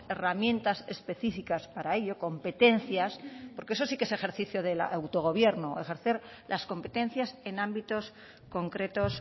herramientas específicas para ello competencias porque eso sí que es ejercicio del autogobierno ejercer las competencias en ámbitos concretos